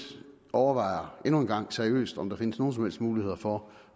overvejer endnu en gang seriøst om der findes nogen som helst muligheder for